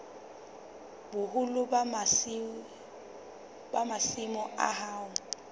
boholo ba masimo a hao